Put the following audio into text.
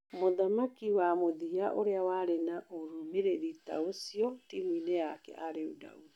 Mũthaki wa mũthia ûrĩa warĩ na ûrũmĩrĩri ta ũcio timuinĩ yake arĩ Daudi.